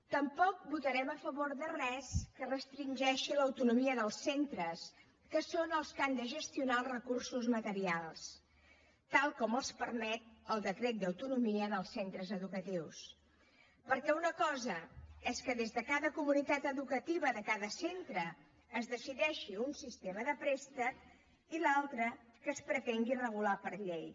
tampoc votarem a favor de res que restringeixi l’autonomia dels centres que són els que han de gestionar els recursos materials tal com els permet el decret d’autonomia dels centres educatius perquè una cosa és que des de cada comunitat educativa de cada centre es decideixi un sistema de préstec i l’altra que es pretengui regular per llei